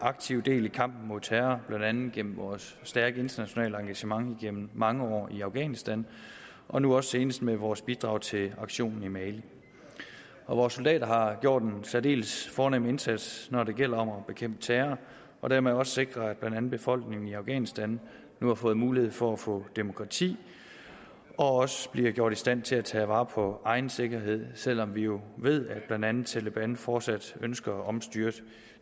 aktivt del i kampen mod terror blandt andet gennem vores stærke internationale engagement gennem mange år i afghanistan og nu også senest med vores bidrag til aktionen i mali vores soldater har gjort en særdeles fornem indsats når det gælder om at bekæmpe terror og dermed også sikre at blandt andet befolkningen i afghanistan nu har fået mulighed for at få demokrati og også bliver gjort i stand til at tage vare på egen sikkerhed selv om vi jo ved at blandt andet taleban fortsat ønsker at omstyrte